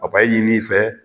Papayi ɲini i fɛ